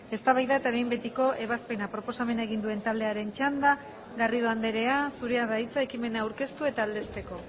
eztabaida eta behin betiko ebazpena proposamena egin duen taldearen txanda garrido andrea zurea da hitza ekimena aurkeztu eta aldezteko